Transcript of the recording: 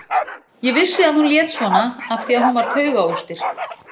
Ég vissi að hún lét svona af því að hún var taugaóstyrk.